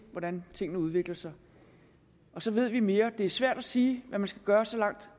hvordan tingene udvikler sig så ved vi mere det er svært at sige hvad man skal gøre så langt